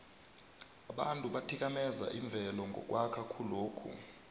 abantu bathikameza imvelo ngokwakha khulokhu